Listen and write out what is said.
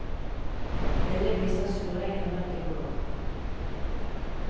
Bildet viser solringen rundt en gård.